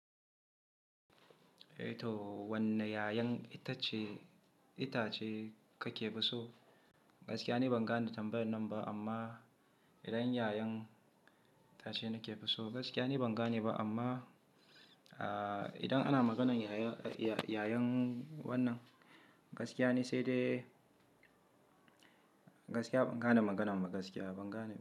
Eh toh, wanne iyayan itace, itace kake fiso? Gaskiya ni ban gane tambayar nan ba amma idan iyayan itace nake fiso, gaskiya ni ban gane ba amma, ah, idan ana maganan yaya, iyyayan wannan, gaskiya ni sai dai, gaskiya ban gane maganan ba, gaskiya ban gane ba.